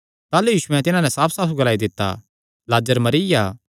ताह़लू यीशुयैं तिन्हां नैं साफसाफ ग्लाई दित्ता लाजर मरिया